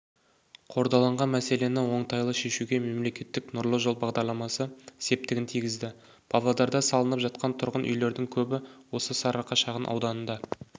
қордаланған мәселені оңтайлы шешуге мемлекеттік нұрлы жер бағдарламасы септігін тигізді павлодарда салынып жатқан тұрғын үйлердің көбі осы сарыарқа шағын ауданында